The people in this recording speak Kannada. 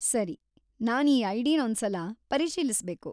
ಸರಿ, ನಾನ್ ಈ ಐಡಿನೊಂದ್ಸಲ ಪರಿಶೀಲಿಸ್ಬೇಕು.